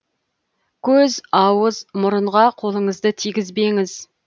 көз ауыз мұрынға қолыңызды тигізбеңіз